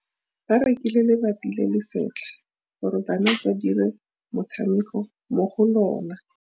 Ba rekile lebati le le setlha gore bana ba dire motshameko mo go lona.